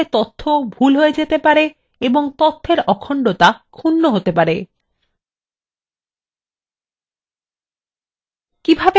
এরফলে তথ্য সঠিক ভুল হয়ে যেতে পারে এবং তথ্যর অখণ্ডতা ক্ষুন্ন হতে পারে